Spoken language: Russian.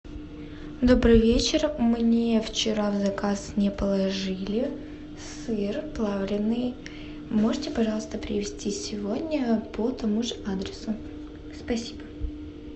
добрый вечер мне вчера заказ не положили сыр плавленный можете пожалуйста привезти сегодня по тому же адресу спасибо